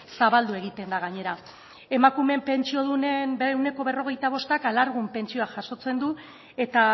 zabaldu egiten da gainera emakumeen pentsiodunen ehuneko berrogeita bostak alargun pentsioa jasotzen du eta